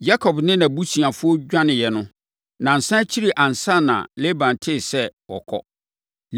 Yakob ne nʼabusuafoɔ dwaneeɛ no, nnansa akyiri ansa na Laban tee sɛ wɔkɔ.